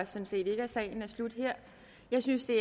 set ikke at sagen slutter her jeg synes det